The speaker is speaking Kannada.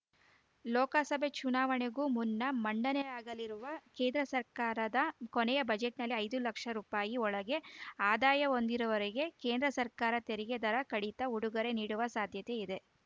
ಲೋಕಸಭೆ ಚುನಾವಣೆಗೂ ಮುನ್ನ ಮಂಡನೆಯಾಗಲಿರುವ ಕೇಂದ್ರ ಸರ್ಕಾರದ ಕೊನೆಯ ಬಜೆಟ್‌ನಲ್ಲಿ ಐದು ಲಕ್ಷ ರುಪಾಯಿ ಒಳಗೆ ಆದಾಯ ಹೊಂದಿರುವವರಿಗೆ ಕೇಂದ್ರ ಸರ್ಕಾರ ತೆರಿಗೆ ದರ ಕಡಿತ ಉಡುಗೊರೆ ನೀಡುವ ಸಾಧ್ಯತೆ ಇದೆ